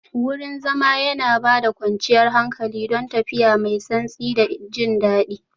Wurin zama yana ba da kwanciyar hankali, don tafiya mai santsi da jin daɗi